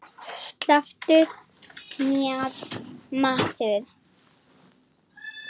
Slepptu mér maður.